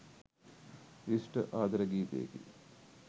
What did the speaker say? විශිෂ්ට ආදර ගීතයකි.